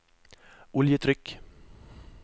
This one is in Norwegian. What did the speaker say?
oljetrykk